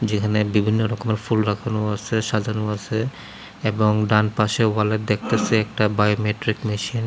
যেখানে বিভিন্ন রকমের ফুল রাখানো আসে সাজানো আসে এবং ডাম পাশেও ওয়ালে দেখতেসি একটা বায়োমেট্রিক মেশিন ।